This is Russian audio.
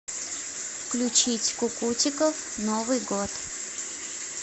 включить кукутиков новый год